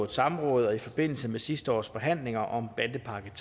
samråd og i forbindelse med sidste års forhandlinger om bandepakke